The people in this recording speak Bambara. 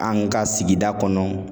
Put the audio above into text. An ka sigida kɔnɔ